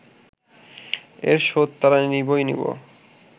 এর শোধ তারা নিবই নিব